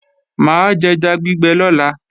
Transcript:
Mà á jẹja gbígbẹ lọ́la